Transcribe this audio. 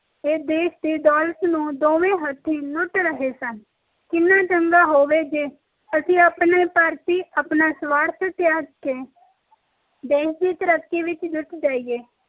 ਇਹ ਦੇਸ਼ ਦੀ ਦੌਲਤ ਨੂੰ ਦੋਵੇ ਹਥਿ ਲੁੱਟ ਰਹੇ ਸਨ ਕਿੰਨਾ ਚੰਗਾ ਹੋਵੇ ਜੇ ਅਸੀਂ ਆਪਣੇ ਭਾਰਤੀ ਆਪਣਾ ਸਵਾਰਥ ਤਯਾਗ ਕੇ ਦੇਸ਼ ਦੀ ਤਰੱਕੀ ਵਿਚ ਜੁੱਟ ਜਾਈਏ